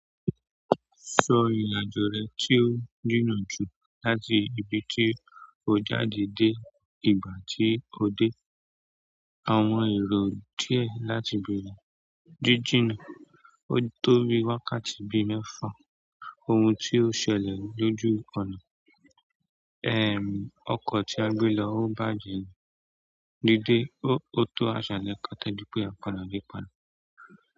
Sọ ìrìn-àjò rẹ tí ó jìnnà jù láti ibi tí o jáde dé ìgbà tí o dé. Àwọn èrò díẹ̀ láti béèrè jíjìnnà. Ó tó bi wákàtí bíi mẹ́fà. Ohun tí ó ṣẹlẹ̀ lójú ọ̀nà. Ọkọ̀ tí a gbé lọ ó bàjẹ́. Díde, ó tó àṣàlẹ̀ kó tó di pé a padà dé padà.